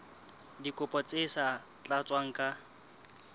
dikopo tse sa tlatswang ka